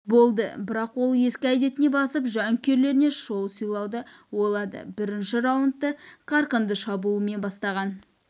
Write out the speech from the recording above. болды бірақ ол ескі әдетіне басып жанкүйерлеріне шоу сыйлауды ойлады бірінші раундты қарқынды шабуылмен бастаған